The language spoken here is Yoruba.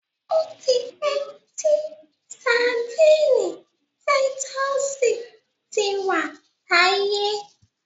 Ó ti pẹ́ tí Sandíínì títúsìì ti wà láyé.